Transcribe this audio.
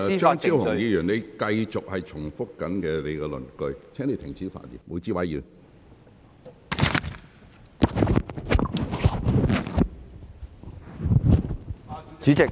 張超雄議員，你正在繼續重複你的論據，請你停止發言。